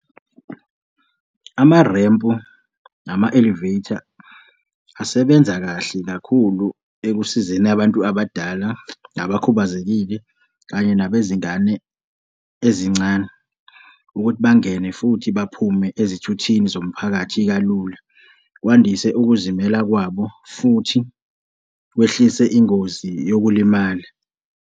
Amarempu nama-elevator asebenza kahle kakhulu ekusizeni abantu abadala, nabakhubazekile kanye nabezingane ezincane ukuthi bangene futhi baphume ezithuthini zomphakathi kalula, kwandise ukuzimela kwabo futhi kwehlise ingozi yokulimala.